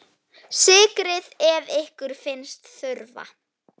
Sykrið ef ykkur finnst þurfa.